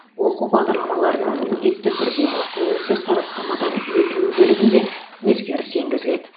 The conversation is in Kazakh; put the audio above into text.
оқу бағдарламаларының міндетті түрде тәуелсіз сараптамадан өтуі бөлігінде өзгеріс енгізіледі